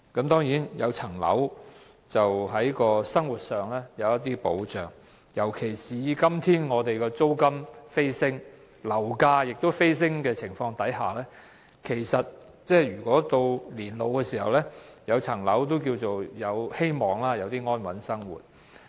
當然，擁有物業可令生活有一點保障，尤其是在今天租金、樓價飛升的情況下，如在年老時擁有物業，或有希望安穩地過活。